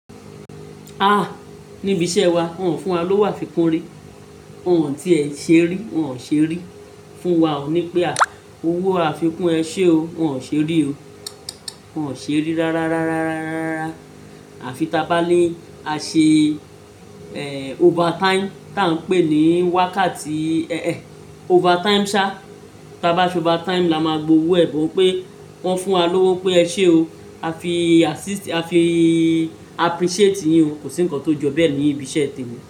Ah! Ni ibi iṣẹ́ wa, wọn fún wa lówó àfikún rí, won tí ẹ ṣé rí, wọn ò ṣe rí. Fún wa òní pé ah! Owó àfikún ẹ ṣé o, wọn ò ṣe rí o. Wọn ò ṣe rí rárá, àfi tá bá ní a ṣe overtime tá ń pè ní wákàtí overtime sá, tá bá ṣe overtime la máa gbowó ẹ̀, bó pé wọn fún wa lówó pé ẹ ṣé o, a fi appreciate yin o, kò sí ǹkan tó ju bẹ́ẹ̀ ní ibi iṣẹ́ tìrẹ.